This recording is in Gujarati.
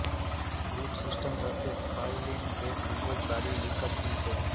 રુટ સિસ્ટમ સાથે ફાઈલિંગ તે ખૂબ જ સારી વિકાસશીલ છે